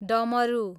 डमरु